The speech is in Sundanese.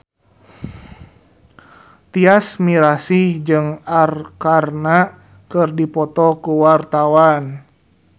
Tyas Mirasih jeung Arkarna keur dipoto ku wartawan